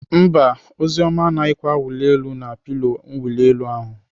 Mba, Oziọma anaghịkwa awụli elu na pilo mwuli elu ahụ.